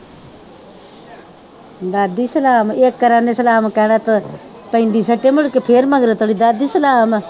ਦਾਦੀ ਸਲਾਮ ਇਸ ਤਰ੍ਹਾਂ ਉਹਨੇ ਸਲਾਮ ਕਹਿਣਾ ਮੁੜਕੇ ਫਿਰ ਮਗਰੋਂ ਕਵੇ ਦਾਦੀ ਸਲਾਮ